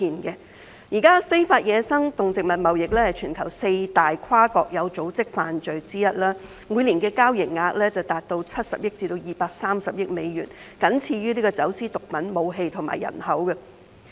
現時，非法野生動植物貿易是全球四大跨國有組織罪行之一，每年的交易額達70億至230億美元，僅次於走私毒品、武器和人口。